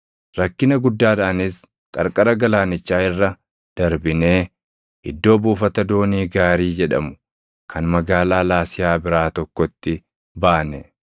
Rakkina guddaadhaanis qarqara galaanichaa irra darbinee iddoo “Buufata doonii gaarii” jedhamu kan magaalaa Laasiyaa biraa tokkotti baane.